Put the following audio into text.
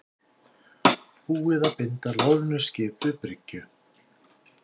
Búið að binda loðnuskip við bryggju